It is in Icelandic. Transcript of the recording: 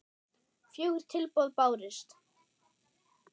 Fjögur tilboð bárust.